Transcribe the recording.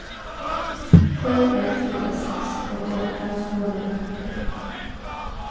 sju ett fyra sex åttioåtta tvåhundrafyrtioett